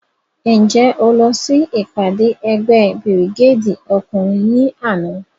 Njẹ o lọ si ipade ẹgbẹ birigedi ọkunrin ni ana?